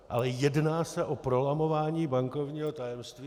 Ale jedná se o prolamování bankovního tajemství.